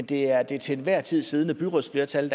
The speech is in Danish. det er det til enhver tid siddende byrådsflertal